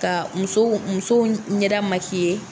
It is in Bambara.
Ka musow musow ɲɛda